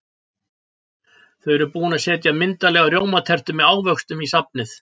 Þau eru búin að setja myndarlega rjómatertu með ávöxtum í safnið.